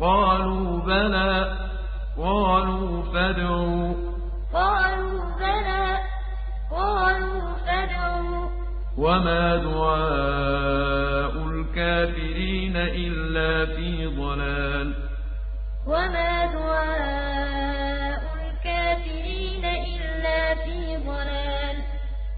قَالُوا بَلَىٰ ۚ قَالُوا فَادْعُوا ۗ وَمَا دُعَاءُ الْكَافِرِينَ إِلَّا فِي ضَلَالٍ قَالُوا أَوَلَمْ تَكُ تَأْتِيكُمْ رُسُلُكُم بِالْبَيِّنَاتِ ۖ قَالُوا بَلَىٰ ۚ قَالُوا فَادْعُوا ۗ وَمَا دُعَاءُ الْكَافِرِينَ إِلَّا فِي ضَلَالٍ